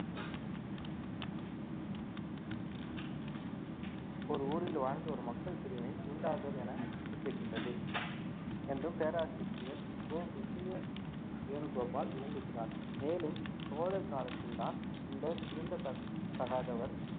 ஒரு ஊரில் வாழ்ந்த ஒரு மக்கள் பிரிவினை தீண்டாதர் என குறிப்பிடுகின்றது என்றும் பேராசிரியர் கோ விஜயவேணுகோபால் விளங்குகிறார் மேலும் சோழர் காலத்தில்தான் இந்த தீண்டத்தகாதவர்